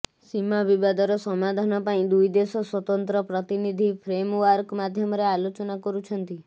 ସୀମା ବିବାଦର ସମାଧାନ ପାଇଁ ଦୁଇଦେଶ ସ୍ୱତନ୍ତ୍ର ପ୍ରତିନିଧି ଫ୍ରେମଓ୍ବାର୍କ ମାଧ୍ୟମରେ ଆଲୋଚନା କରୁଛନ୍ତି